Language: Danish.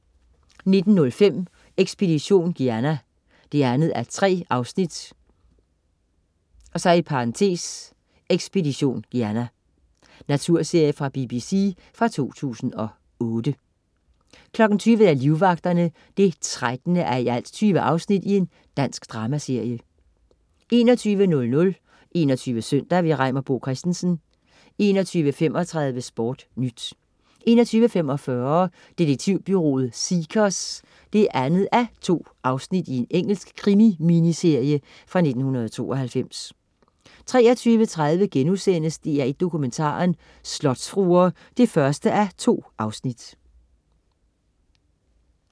19.05 Ekspedition Guyana 2:3 (Expedition Guyana) Naturserie fra BBC fra 2008 20.00 Livvagterne 13:20. Dansk dramaserie 21.00 21 SØNDAG. Reimer Bo Christensen 21.35 SportNyt 21.45 Detektivbureauet Seekers 2:2. Engelsk krimi-miniserie fra 1992 23.30 DR1 Dokumentaren: Slotsfruer 1:2*